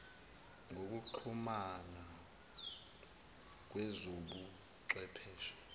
yokuxhumana kwezobu chwepheshe